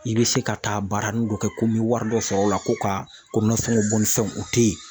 I bɛ se ka taa baara nin dɔ kɛ ko n bɛ wari dɔ sɔrɔ o la ko ka ko nasɔngɔbɔ ni fɛnw u tɛ yen.